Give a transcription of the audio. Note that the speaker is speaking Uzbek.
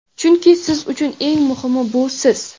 chunki siz uchun eng muhimi bu siz.